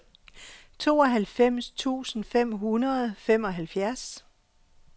tooghalvfems tusind fem hundrede og femoghalvfjerds